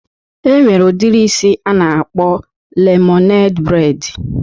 E nwere udiri isi a na-akpọ lemoned breid